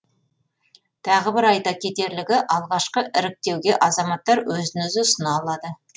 тағы бір айта кетерлігі алғашқы іріктеуге азаматтар өзін өзі ұсына алады